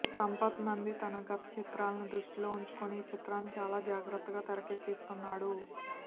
సంపత్ నంది తన గత చిత్రాలని దృష్టిలో ఉంచుకుని ఈ చిత్రాన్ని చాలా జాగ్రత్తగా తెరకెక్కిస్తున్నాడు